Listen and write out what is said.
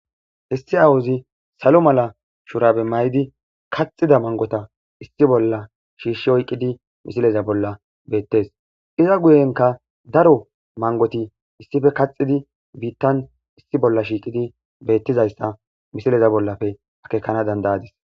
Issii awuzi salo mala shurabe mayidi kaxida mangota issi bolla shiishshi oyqqidi misileza bolla beettes iza guyenka daro mangoti issife kaxidi biittan issi bolla shiiqidi beettizayssa misileza bollape akekana dandayadis.